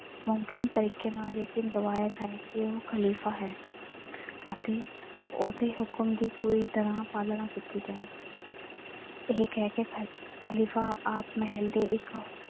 ਮੁਮਕਿਨ ਤਰੀਕੇ ਨਾਲ ਯਕੀਨ ਦਿਵਾਇਆ ਜਾਏ ਕਿ ਉਹ ਖ਼ਲੀਫ਼ਾ ਹੈ ਅਤੇ ਉਹਦੇ ਹੁਕਮ ਦੀ ਪੂਰੀ ਤਰ੍ਹਾਂ ਪਾਲਣਾ ਕੀਤੀ ਜਾਏ ਇਹ ਕਹਿ ਕੇ ਖ਼ਲੀਫ਼ਾ ਆਪ ਮਹੱਲ ਦੇ ਇੱਕ,